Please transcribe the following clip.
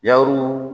Yaru